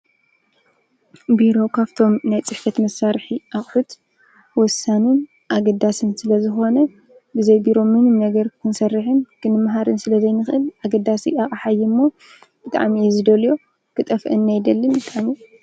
ቢሮ ካብቶም ናይ ፅሕፈት መሳርሒ ኣቅሑት ወሳኒን ኣገዳስን ስለዝኮነ ብዘይ ቢሮ ምንም ነገር ክንሰርሕን ክንመሃርን ስለዘይንክእል ኣገዳሲ ኣቅሓ እዩ እሞ ብጣዕሚ እየ ዝደልዮ ክጠፍአኒ ኣይደልን ፡፡